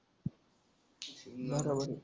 बरोबर आहे.